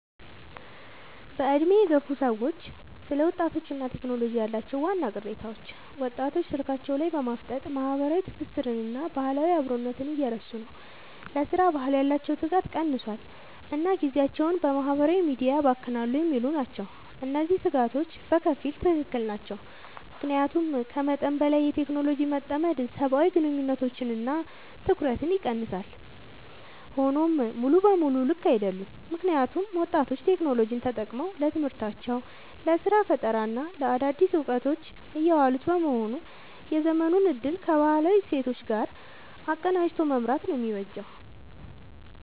በዕድሜ የገፉ ሰዎች ስለ ወጣቶችና ቴክኖሎጂ ያላቸው ዋና ቅሬታዎች፦ ወጣቶች ስልካቸው ላይ በማፍጠጥ ማህበራዊ ትስስርንና ባህላዊ አብሮነትን እየረሱ ነው: ለሥራ ባህል ያላቸው ትጋት ቀንሷል: እና ጊዜያቸውን በማህበራዊ ሚዲያ ያባክናሉ የሚሉ ናቸው። እነዚህ ስጋቶች በከፊል ትክክል ናቸው። ምክንያቱም ከመጠን በላይ በቴክኖሎጂ መጠመድ ሰብአዊ ግንኙነቶችንና ትኩረትን ይቀንሳል። ሆኖም ሙሉ በሙሉ ልክ አይደሉም: ምክንያቱም ወጣቶች ቴክኖሎጂን ተጠቅመው ለትምህርታቸው: ለስራ ፈጠራና ለአዳዲስ እውቀቶች እያዋሉት በመሆኑ የዘመኑን እድል ከባህላዊ እሴቶች ጋር አቀናጅቶ መምራት ነው የሚበጀው።